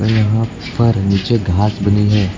यहां पर नीचे घास बनी है।